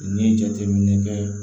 N'i ye jateminɛ kɛ